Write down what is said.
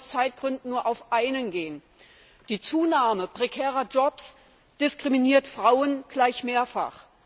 Ich kann hier aus Zeitgründen nur auf einen eingehen Die Zunahme prekärer Jobs diskriminiert Frauen gleich mehrfach.